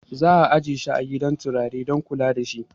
Za'a ajiye shi a gidan kutare dan kula dashi